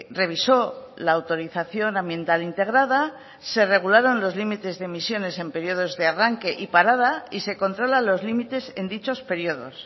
revisó la autorización ambiental integrada se regularon los límites de emisiones en periodos de arranque y parada y se controlan los límites en dichos periodos